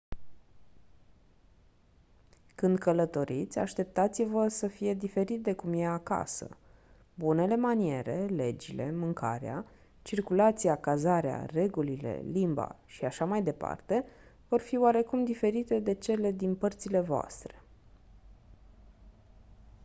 când călătoriți așteptați-vă să fie diferit de cum e «acasă». bunele maniere legile mâncarea circulația cazarea regulile limba și așa mai departe vor fi oarecum diferite de cele din părțile voastre.